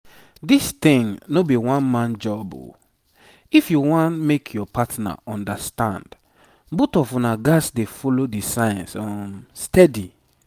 this thing no be one-man job o. if you wan make your partner understand both of una gats dey follow the signs um steady.